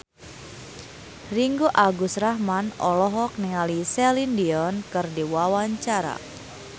Ringgo Agus Rahman olohok ningali Celine Dion keur diwawancara